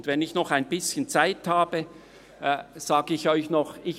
Und wenn ich noch ein bisschen Zeit habe, sage ich Ihnen noch etwas: